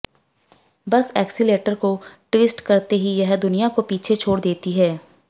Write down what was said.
बस एक्सीलेटर को टि्वस्ट करते ही यह दुनिया को पीछे छोड़ देती है